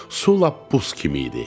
Su lap buz kimi idi.